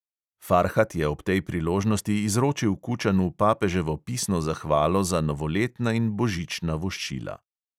Farhat je ob tej priložnosti izročil kučanu papeževo pisno zahvalo za novoletna in božična voščila.